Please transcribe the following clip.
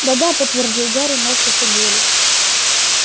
да-да подтвердил гарри морщась от боли